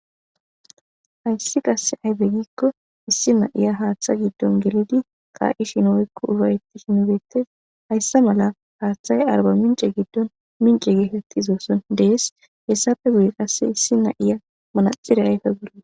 hayssi qasse ayfe giikko issi na7iya haaththa giddon gelidi ka7ishinoykko ubayeti shinbeettes hayssa mala haaththayy arba mince giddon mince gehetti zoosson dees hessafe gude qasse issi na7iya manaxire ayfe golla